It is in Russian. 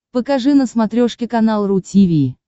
покажи на смотрешке канал ру ти ви